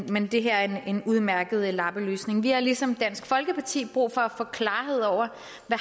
men det her er en udmærket lappeløsning vi har ligesom dansk folkeparti brug for at få klarhed over